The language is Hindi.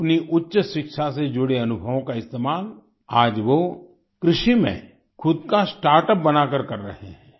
अपनी उच्च शिक्षा से जुड़े अनुभवों का इस्तेमाल आज वो कृषि में खुद का स्टार्टअप बनाकर कर रहे हैं